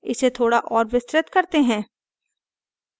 इसे थोड़ा और विस्तृत करते हैं